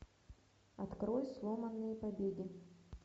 открой сломанные побеги